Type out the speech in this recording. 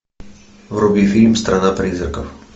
вруби фильм страна призраков